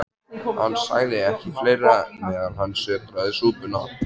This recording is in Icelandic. Hann sagði ekki fleira, meðan hann sötraði súpuna.